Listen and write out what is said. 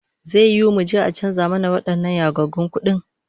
Zai yiwu muje a canza mana wadannan yagaggun kudin?